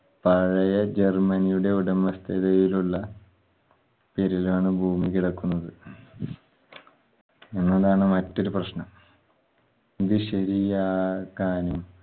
പഴയ ജർമനിയുടെ ഉടമസ്ഥതയിലുള്ള പേരിലാണ് ഭൂമി കിടക്കുന്നത്. എന്നതാണ് മറ്റൊരു പ്രശ്നം. ഇത് ശെരിയാക്കാനും